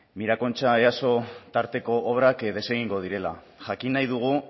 mirakontxa easo tarteko obrak desengingo direla jakin nahi dugu